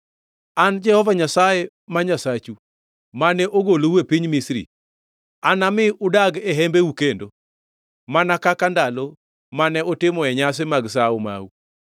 “An Jehova Nyasaye Nyasachu mane ogolou e piny Misri, anami udagi e hembeu kendo, mana kaka ndalo mane utimoe nyasi mag sawo mau.